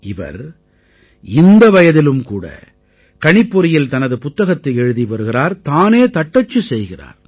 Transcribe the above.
இவர் இந்த வயதிலும் கூட கணிப்பொறியில் தனது புத்தகத்தை எழுதி வருகிறார் தானே தட்டச்சு செய்கிறார்